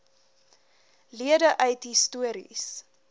lede uit histories